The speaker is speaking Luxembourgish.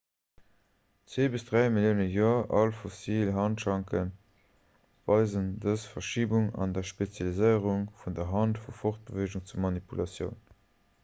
zwee bis dräi millioune joer al fossil handschanke weisen dës verschibung an der spezialiséierung vun der hand vu fortbeweegung zu manipulatioun